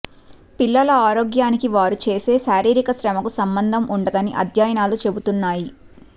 పిల్లల ఆరోగ్యానికి వారు చేసే శారీరక శ్రమకు సంబంధం ఉందని అధ్యయనాలు చెబుతున్నాయి